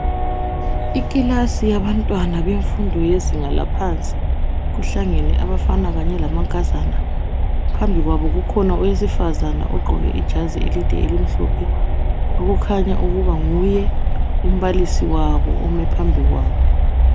Ikilasi yabantwana bemfundo yezinga laphansi, kuhlangane abafana kanye lamankazana phambi kwabo kukhona owesifazana oqoke ijazi elide elimhlophe okukhanya ukuba nguye umbalisi wabo.